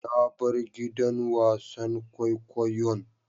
Na bar gidan wasan kwaikwayon.